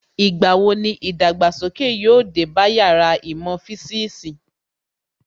Ìgbà wo ni ìdàgbàsókè yóò dé bá Yàrá īmò fisiisi